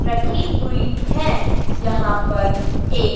रखी हुई हैं यहां पर एक--